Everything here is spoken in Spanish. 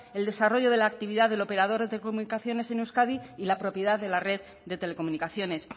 el desarrollo de la actividad del operador de telecomunicaciones en euskadi y la propiedad de la red de telecomunicaciones